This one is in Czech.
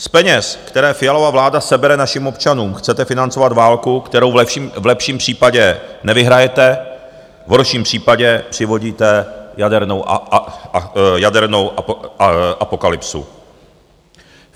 Z peněz, které Fialova vláda sebere našim občanům, chcete financovat válku, kterou v lepším případě nevyhrajete, v horším případě přivodíte jadernou apokalypsu.